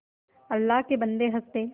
अल्लाह के बन्दे हंस दे